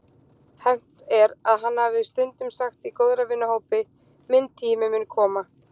Hermt er að hann hafi stundum sagt í góðra vina hópi: Minn tími mun koma.